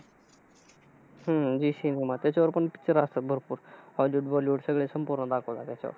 हम्म झी सिनेमा, त्याच्यावर पण pictures असतात भरपूर. Hollywood, bollywood सगळे संपूर्ण दाखवतात त्याच्यावर.